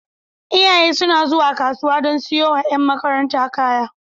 Iyaye suna zuwa kasuwa don siyowa ƴan makaranta kaya.